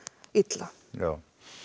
illa já